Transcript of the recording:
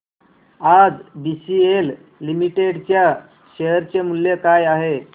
आज BCL limited च्या share चे मूल्य काय आहे